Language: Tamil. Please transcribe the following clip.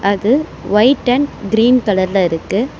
அது ஒயிட் அண்ட் கிரீன் கலர்ல இருக்கு.